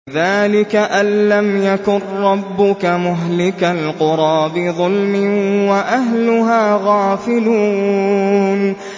ذَٰلِكَ أَن لَّمْ يَكُن رَّبُّكَ مُهْلِكَ الْقُرَىٰ بِظُلْمٍ وَأَهْلُهَا غَافِلُونَ